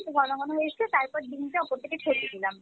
একটু ঘনঘন হয়ে এসছে তারপর ডিমটা ওপর থেকে ছেড়ে দিলাম।